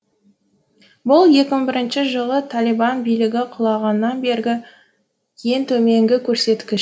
бұл екі мың бірінші жылы талибан билігі құлағаннан бергі ең төменгі көрсеткіш